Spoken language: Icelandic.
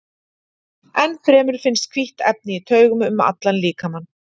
Enn fremur finnst hvítt efni í taugum um allan líkamann.